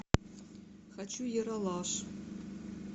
хочу ералаш